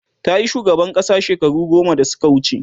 tayi shugaban ƙasa shekaru goma da Suka wuce